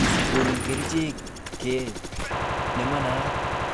Konu kerichek ke nemanaat.